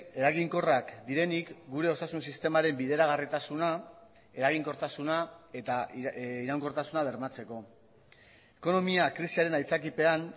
eraginkorrak direnik gure osasun sistemaren bideragarritasuna eraginkortasuna eta iraunkortasuna bermatzeko ekonomia krisiaren aitzakipean